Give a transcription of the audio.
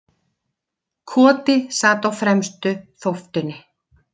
Koti sat á fremstu þóftunni.